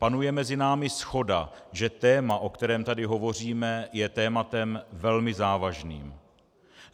Panuje mezi námi shoda, že téma, o kterém tady hovoříme, je tématem velmi závažným.